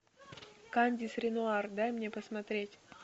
кандис ренуар дай мне посмотреть